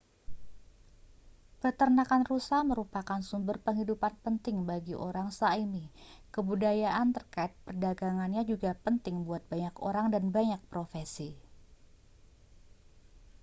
peternakan rusa merupakan sumber penghidupan penting bagi orang sã¡mi kebudayaan terkait perdagangannya juga penting buat banyak orang dan banyak profesi